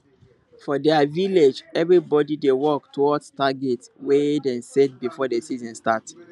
for their village everybody dey work towards target wey dem set before the season start